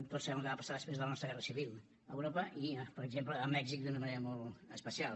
tots sabem el que va passar després de la nostra guerra civil a europa i per exemple a mèxic d’una manera molt especial